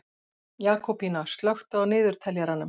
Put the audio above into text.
Jakobína, slökktu á niðurteljaranum.